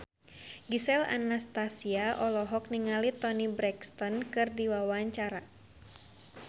Gisel Anastasia olohok ningali Toni Brexton keur diwawancara